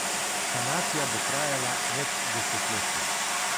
Sanacija bo trajala več desetletij.